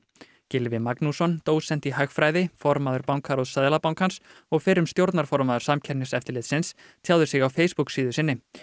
Gylfi Magnússon dósent í hagfræði formaður bankaráðs Seðlabankans og fyrrum stjórnarformaður Samkeppniseftirlitsins tjáði sig á Facebook síðu sinni